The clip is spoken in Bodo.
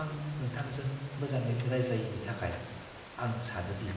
आं नोंथांजों मोजाङै रायज्लायैनि थाखाय, आं सानो दि